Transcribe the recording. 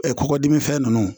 kɔkɔ dimi fɛn nunnu